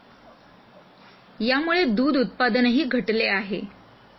यामुळे दूध उत्पादनही घटले आहे.